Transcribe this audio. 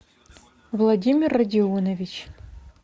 владимир родионович